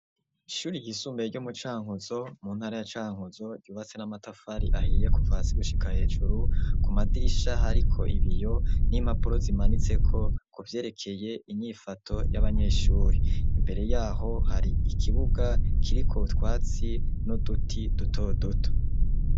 Ishuri ryisumbuye, ryo mu Cankuzo, mu ntara ya Cankuzo, ryubatse n'amatafari ahiye, kuva hasi gushika hejuru; ku madirisha, hariko ibiyo n'impapuro, zimanitseko, ku vyerekeye, inyifato y'abanyeshuri; imbere y'aho hari ikibuga, kiriko utwatsi, n'uduti duto duto.